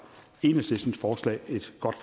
enhedslistens forslag er et godt